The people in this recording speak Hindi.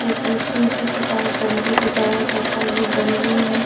जिससे शिव जी के पास डमरू बजाया जाता है वो डमरू हैं।